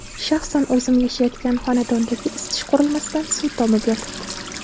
Shaxsan o‘zim yashayotgan xonadondagi isitish qurilmasidan suv tomib yotibdi.